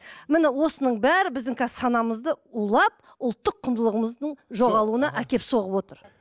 міне осының бәрі біздің қазір санамызды улап ұлттық құндылығымыздың жоғалуына әкеліп соғып отыр